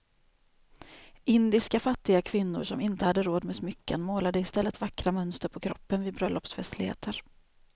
Indiska fattiga kvinnor som inte hade råd med smycken målade i stället vackra mönster på kroppen vid bröllopsfestligheter.